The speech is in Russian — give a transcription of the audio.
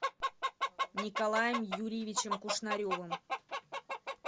николаем юрьевичем кушнаревым